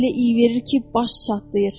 Özü də elə iy verir ki, baş çatlayır.